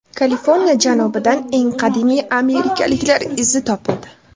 Kaliforniya janubidan eng qadimiy amerikaliklar izi topildi.